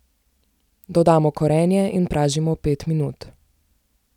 Dodamo korenje in pražimo pet minut.